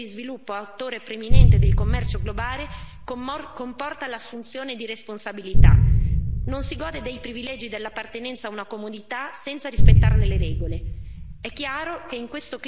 Ma il passaggio da economia in via di sviluppo ad attore preminente del commercio globale comporta l'assunzione di responsabilità non si gode dei privilegi dell'appartenenza a una comunità senza rispettarne le regole.